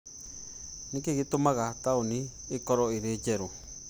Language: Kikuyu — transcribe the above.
nĩ kĩĩ gĩtũmaga taũni ĩkorũo ĩrĩ njerũ?